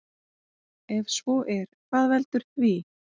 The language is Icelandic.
Ef svo er hvað veldur því?